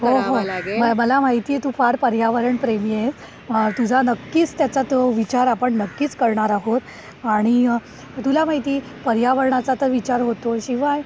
हो हो. मला माहित आहे तू फार पर्यावरण प्रेमी आहेस. तुझा नक्कीच त्याचा तो विचार आपण नक्कीच करणार आहोत आणि तुला माहिती पर्यावरणा चा विचार होतो शिवाय